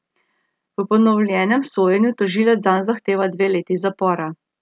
V ponovljenem sojenju tožilec zanj zahteva dve leti zapora.